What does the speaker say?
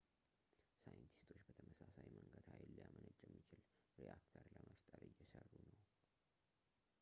ሳይንቲስቶች በተመሳሳይ መንገድ ኃይል ሊያመነጭ የሚችል ሬአክተር ለመፍጠር እየሰሩ ነው